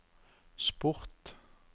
sport